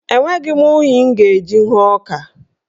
Enweghị m unyi m ga-eji hụọ ọka.